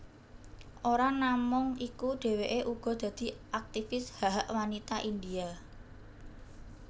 Ora namung iku dheweké uga dadi aktifis hak hak wanita India